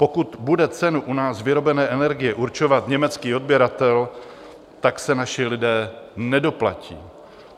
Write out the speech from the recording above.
Pokud bude cenu u nás vyrobené energie určovat německý odběratel, tak se naši lidé nedoplatí.